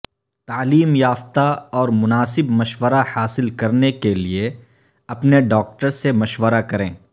تعلیم یافتہ اور مناسب مشورہ حاصل کرنے کے لئے اپنے ڈاکٹر سے مشورہ کریں